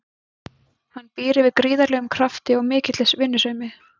Hann býr yfir gríðarlegum krafti og mikilli vinnusemi.